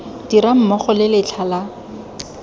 dirang mmogo le letlha la